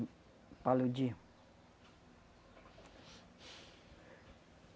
O paludismo.